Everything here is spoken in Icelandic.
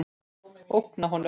Ógna honum.